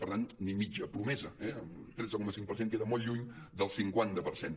per tant ni mitja promesa eh tretze coma cinc per cent queda molt lluny del cinquanta per cent